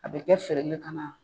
A be kɛ feere li ka na.